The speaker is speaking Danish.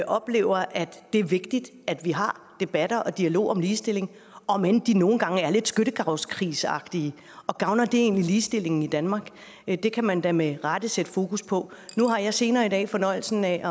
oplever at det er vigtigt at vi har debatter og dialog om ligestilling om end de nogle gange er lidt skyttegravskrigsagtige og gavner det egentlig ligestillingen i danmark det kan man da med rette sætte fokus på nu har jeg senere i dag fornøjelsen af